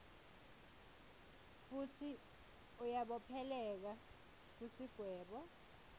futsi uyabopheleleka kusigwebo